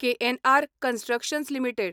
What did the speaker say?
KNR Constructions limited